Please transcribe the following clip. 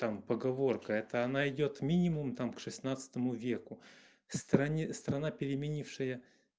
там поговорка это она идёт минимум там к шестнадцатому веку в стране страна переменившая